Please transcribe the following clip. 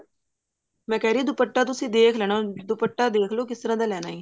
ਮੈਂ ਕਿਹ ਰਹੀ ਆ ਦੁਪੱਟਾ ਤੁਸੀਂ ਦੇਖ ਲੈਣਾ ਦੁਪੱਟਾ ਦੇਖਲੋ ਕੀ ਤਰ੍ਹਾਂ ਦਾ ਲੈਣਾ ਹੈ